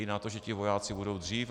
I na to, že ti vojáci budou dřív.